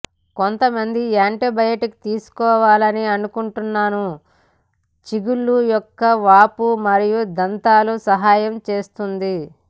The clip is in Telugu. కొంతమంది యాంటీబయాటిక్ తీసుకోవాలని అనుకుంటున్నాను చిగుళ్ళు యొక్క వాపు మరియు దంతాల సహాయం చేస్తుంది